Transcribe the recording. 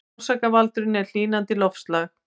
Orsakavaldurinn er hlýnandi loftslag